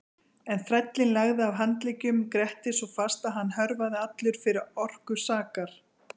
En þrællinn lagði að handleggjum Grettis svo fast að hann hörfaði allur fyrir orku sakar.